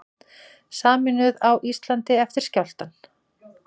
Sameinuð á Íslandi eftir skjálftann